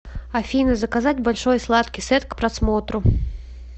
афина заказать большой сладкий сет к просмотру